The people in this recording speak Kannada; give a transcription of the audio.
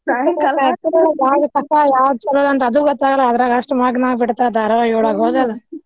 ಯಾದ್ ಕಸಾ ಯಾವ್ದ್ ಚಲೋ ಅಂತ್ ಅದು ಗೊತ್ತಾಗಲ್ಲ. ಅದ್ರಾಗ ಅಷ್ಟ್ ಮಗ್ನ ಆಗ್ ಬಿಡ್ತಾರ ಧಾರಾವಾಹಿ ಒಳ್ಗ ಹೌದಲ್